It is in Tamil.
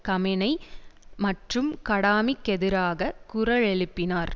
கமேனய் மற்றும் கடாமிக்கெதிராகக் குரலெழுப்பினார்